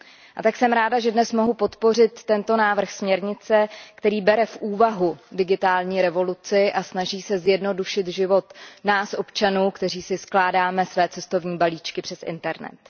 A tak jsem ráda, že dnes mohu podpořit tento návrh směrnice, který bere v úvahu digitální revoluci a snaží se zjednodušit život nám, občanům, kteří si skládáme své cestovní balíčky přes internet.